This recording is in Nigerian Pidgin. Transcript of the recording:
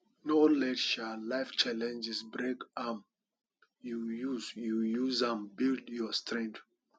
no let um life challenges break um you use you use am build your strength